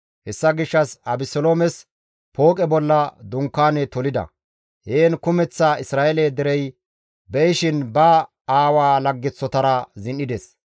Hessa gishshas Abeseloomes pooqe bolla dunkaane tolida; heen kumeththa Isra7eele derey be7ishin ba aawaa laggeththotara zin7ides.